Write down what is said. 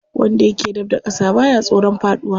Wanda yake dab da ƙasa baya tsoron faɗuwa.